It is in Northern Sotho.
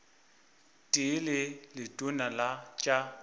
tee le letona la tša